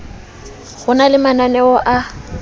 ho na le mananeo a